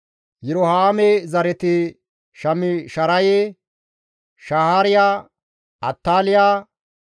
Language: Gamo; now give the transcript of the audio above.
Yirohaame zareti Shaamisharaye, Shahaariya, Attaaliya,